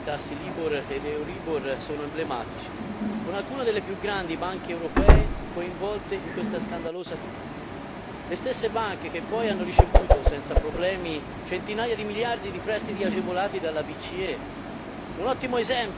I casi di manipolazione dei tassi Libor ed Euribor sono emblematici, con alcune delle più grandi banche europee coinvolte in questa scandalosa truffa, le stesse banche che poi hanno ricevuto senza problemi centinaia di miliardi di prestiti agevolati dalla BCE